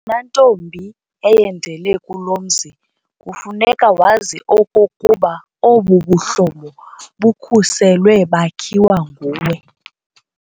Wena ntombi eyendele kulo mzi kufuneka wazi okokuba obu buhlobo bukhuselwe bakhiwa nguwe.